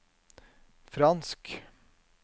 fransk